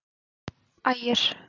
Ægir